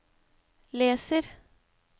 leser